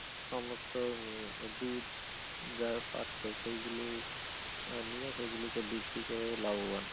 সমস্ত দুধ যারা পাচ্ছে সেগুলো নিয়ে সেগুলোকে বিক্রি করেও লাভবান হচ্ছে ।